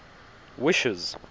wishes